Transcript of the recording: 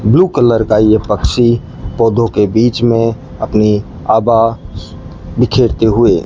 blue colour का ये पक्षी पौधों के बीच में अपनी आभा बिखेरते हुए --